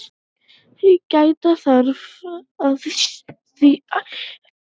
Gæta þarf að því að bæði kynin eigi jafnmarga fulltrúa í hópnum.